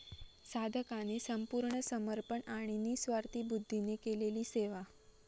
साधकाने संपूर्ण समर्पण आणि निस्वार्थी बुद्धीने केलेली सेवा.